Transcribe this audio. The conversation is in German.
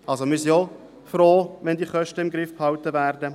wir sind auch froh, wenn diese Kosten im Griff behalten werden.